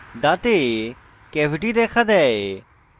দাঁতে ক্যাভিটি দেখা দেয়